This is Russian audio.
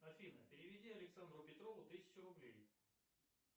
афина переведи александру петрову тысячу рублей